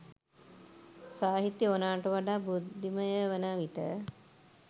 සාහිත්‍යය ඕනෑවට වඩා බුද්ධිමය වන විට